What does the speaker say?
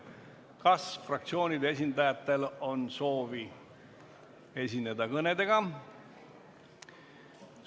Kas fraktsioonide esindajatel on soovi esineda kõnedega?